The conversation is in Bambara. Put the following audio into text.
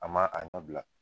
An m'a a ɲɔ bila